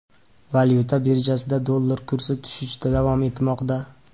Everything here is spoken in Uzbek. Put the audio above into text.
Valyuta birjasida dollar kursi tushishda davom etmoqda .